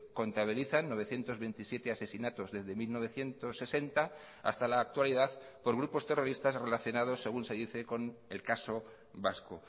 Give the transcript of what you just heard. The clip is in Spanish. contabilizan novecientos veintisiete asesinatos desde mil novecientos sesenta hasta la actualidad por grupos terroristas relacionados según se dice con el caso vasco